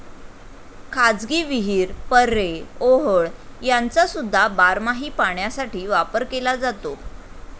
खाजगी विहीर, पऱ्हे, ओहोळ ह्यांचासुद्धा बारमाही पाण्यासाठी वापर केला जातो.